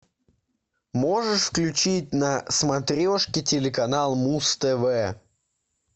можешь включить на смотрешке телеканал муз тв